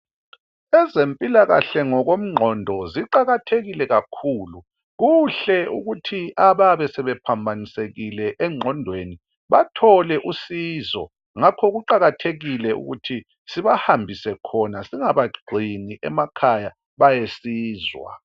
ezempilakahle ngokomqondo ziqakathekile kakhulu kuhle ukuthi abayabe sebephambanisekile emqondweni bathole usizo ngakho kuqakathelile ukuthi sibahambise khona singabagcini emakhaya bayesizwa